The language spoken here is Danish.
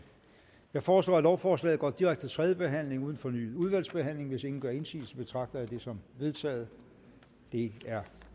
jeg foreslår at lovforslaget går direkte til tredje behandling uden fornyet udvalgsbehandling hvis ingen gør indsigelse betragter jeg det som vedtaget det er